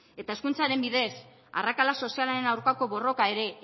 eta hezkuntzaren bidez arrakala sozialaren aurkako borroka ere